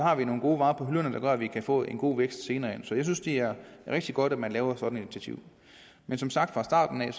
have nogle gode varer på hylderne der gør at vi kan få en god vækst senere hen så jeg synes det er rigtig godt at man tager sådan et initiativ som sagt fra starten af kan